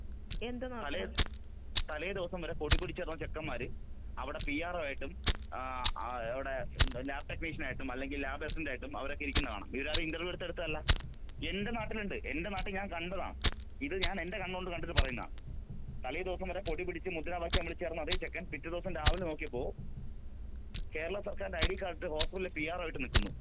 തലേദിവസം വരെ കൊടി പിടിച്ചു നടക്കന്ന ചെക്കൻമാര് അവിടെ പിആർ ഒ ആയിട്ടും ലാബ് ടെക്നീഷ്യൻ ആയിട്ടും, അല്ലെങ്കിൽ ലാബ് അസിസ്റ്റന്റ് ആയിട്ടും അവരൊക്കെ ഇരിക്കുന്നത് കാണാം .ഇവരാരും ഇൻറർവ്യൂ നടത്തി എടുത്തതല്ല. എന്റെ നാട്ടിലുണ്ട് എന്റെ നാട്ടിൽ ഞാൻ കണ്ടതാ.ഇത് ഞാൻ എന്റെ കണ്ണോത്ത് കണ്ടിട്ട് പറയുന്നതാ.തലേധിവസം വരെ കൊടി പിടിച്ചു മുദ്രാവാക്യം വിളിച്ചു നടന്ന അതെ ചെക്കൻ പിറ്റേദിവസം രാവിലെ നോക്കിയപ്പോൾ കേരള സർക്കാരിന്റെ ഐഡി കാര്‍ഡ് ഇട്ട് ഹൊസ്പിറ്റലിൽ പിആർ ഒ ആയി നിൽക്കുന്നു.